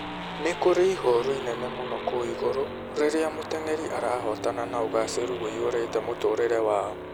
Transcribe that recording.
Nĩ kũrĩ ihooru inene mũno kũu igũrũ rĩrĩa mũteng'eri arahotana na ũgaacĩru ũiyũrĩte mũtũũrĩre wao